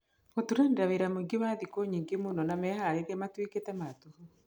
Gũturanĩra wĩra mũingĩ wa thikũ nyingĩ mũno na meharĩrĩria matuĩkĩte ma tũhũ.